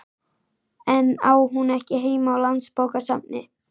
En á hún ekki heima á Landsbókasafni?